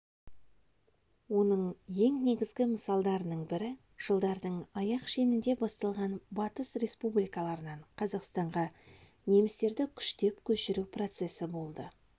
оның ең негізгі мысалдарының бірі жылдардың аяқ шенінде басталған батыс республикаларынан қазақстанға немістерді күштеп көшіру процесі болды